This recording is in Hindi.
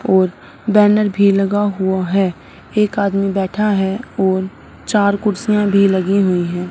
और बैनर भी लगा हुआ है एक आदमी बैठा है और चार कुर्सियां भी लगी हुई हैं।